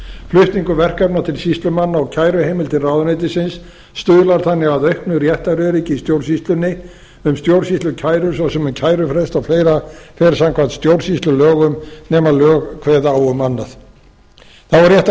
flutningur verkefna til sýslumanna og kæruheimildir ráðuneytisins stuðlar þannig að auknu réttaröryggi í stjórnsýslunni um stjórnsýslukærur svo sem um kærufrest og fleira fer samkvæmt stjórnsýslulögum nema að lög kveði á um annað þá er rétt að